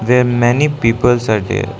they are many peoples are there.